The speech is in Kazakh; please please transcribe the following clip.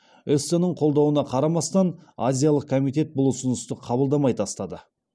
эссеннің қолдауына қарамастан азиялық комитет бұл ұсынысты қабылдамай тастады